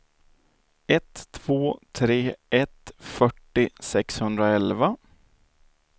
ett två tre ett fyrtio sexhundraelva